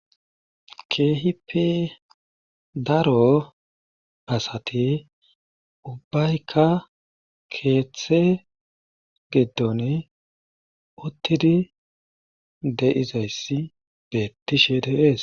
Keehippe daro asati ubbaykka keeththe gidon utidi de'izayssi beetishe de'ees.